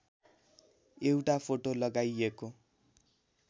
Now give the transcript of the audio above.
एउटा फोटो लगाइएको